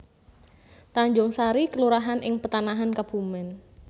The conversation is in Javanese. Tanjungsari kelurahan ing Petanahan Kebumèn